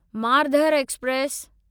Marudhar express